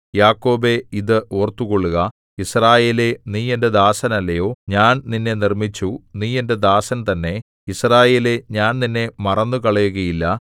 യാക്കോബേ ഇത് ഓർത്തുകൊള്ളുക യിസ്രായേലേ നീ എന്റെ ദാസനല്ലയോ ഞാൻ നിന്നെ നിർമ്മിച്ചു നീ എന്റെ ദാസൻ തന്നെ യിസ്രായേലേ ഞാൻ നിന്നെ മറന്നുകളയുകയില്ല